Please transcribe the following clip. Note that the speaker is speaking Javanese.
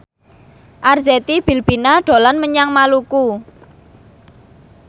Arzetti Bilbina dolan menyang Maluku